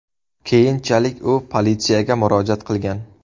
Keyinchalik u politsiyaga murojaat qilgan.